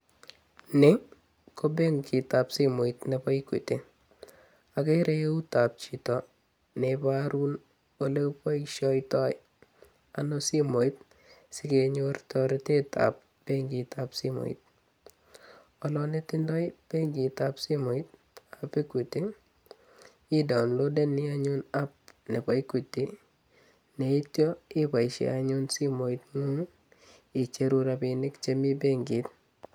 Nii ko benkitab simoit neboo Equity, okeree euutab chito neboruu olekiboishoitoi ano simoit sikenyor toretetab benkitab simoit, konetindo benkitab simoitab equity ii daonlodeni anyun app neboo Equity yeityo iboishen anyun simoing'ung icheruu rabinik chemii benkit.